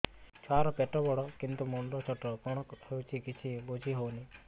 ଛୁଆର ପେଟବଡ଼ କିନ୍ତୁ ମୁଣ୍ଡ ଛୋଟ କଣ ହଉଚି କିଛି ଵୁଝିହୋଉନି